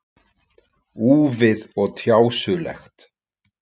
Úfið og tjásulegt.